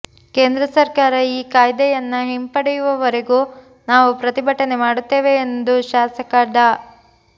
ಕೇಂದ್ರ ಸರ್ಕಾರ ಈ ಕಾಯ್ದೆಯನ್ನ ಹಿಂಪಡೆಯುವವರೆಗೂ ನಾವು ಪ್ರತಿಭಟನೆ ಮಾಡುತ್ತೇವೆ ಎಂದು ಶಾಸಕ ಡಾ